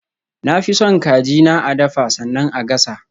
Na fi son kaji na a dafa sannan a gasa.